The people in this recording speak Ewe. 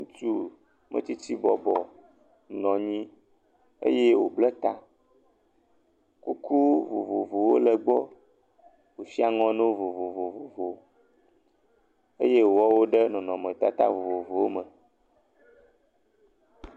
Ŋutsumetsitsi bɔbɔ nɔ nyi eye wòblɛ ta. Kuku vovovowo le egbɔ. Woshi aŋɔ nawo vovovo. Eye wòwɔ wo ɖe nɔnɔmetata vovovowo me.